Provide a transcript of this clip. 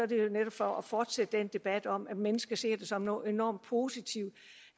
det jo netop for at fortsætte den debat om at mennesker ser det som noget enormt positivt